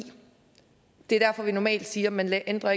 det er derfor vi normalt siger at man ikke ændrer